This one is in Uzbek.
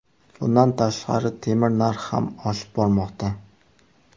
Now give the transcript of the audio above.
Bundan tashqari, temir narxi ham oshib bormoqda.